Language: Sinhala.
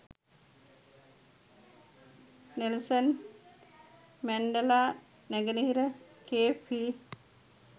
නෙල්සන් මැන්ඩෙලා නැගෙනහිර කේප් හි